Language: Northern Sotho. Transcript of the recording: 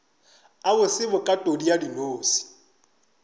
a bose bokatodi ya dinose